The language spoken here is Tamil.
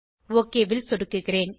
ஒக் ல் சொடுக்கிறேன்